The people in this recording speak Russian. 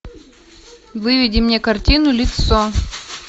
выведи мне картину лицо